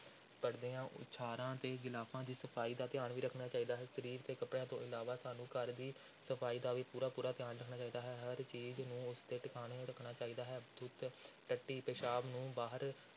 ਪਰਦਿਆਂ, ਉਛਾੜਾਂ ਤੇ ਗਿਲਾਫ਼ਾਂ ਦੀ ਸਫ਼ਾਈ ਦਾ ਧਿਆਨ ਵੀ ਰੱਖਣਾ ਚਾਹੀਦਾ ਹੈ, ਸਰੀਰ ਦੇ ਕੱਪੜਿਆਂ ਤੋਂ ਇਲਾਵਾ ਸਾਨੂੰ ਘਰ ਦੀ ਸਫ਼ਾਈ ਦਾ ਵੀ ਪੂਰਾ ਪੂਰਾ ਧਿਆਨ ਰੱਖਣਾ ਚਾਹੀਦਾ ਹੈ, ਹਰ ਚੀਜ਼ ਨੂੰ ਉਸ ਦੇ ਟਿਕਾਣੇ ਰੱਖਣਾ ਚਾਹੀਦਾ ਹੈ, ਥੁੱਕ, ਟੱਟੀ, ਪਿਸ਼ਾਬ ਨੂੰ ਬਾਹਰ